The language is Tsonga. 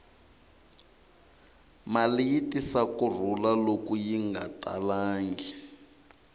mali yi tisa ku rhula loko yi nga talangi